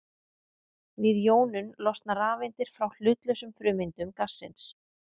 Við jónun losna rafeindir frá hlutlausum frumeindum gassins.